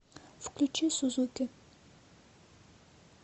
включи сузуки